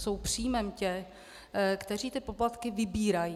Jsou příjmem těch, kteří ty poplatky vybírají.